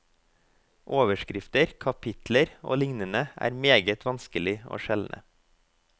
Overskrifter, kapitler og lignende er meget vanskelige å skjelne.